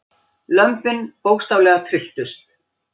Lömbin bókstaflega trylltust.